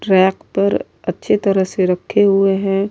Rack پر اچھے طرح سے رکھے ہوئے ہے۔